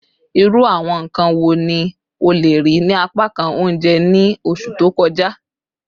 Iru awọn nkan wo ni o le rii ni apakan ounjẹ ni oṣu to kọja?